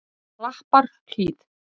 Klapparhlíð